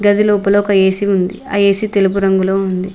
గదిలోపల ఒక ఏసి ఉంది అ ఎసి తెలుపు రంగులో ఉంది.